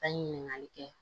An ye ɲininkali kɛ